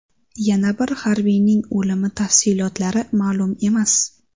Yana bir harbiyning o‘limi tafsilotlari ma’lum emas.